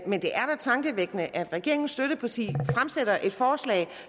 tankevækkende at regeringens støtteparti fremsætter et forslag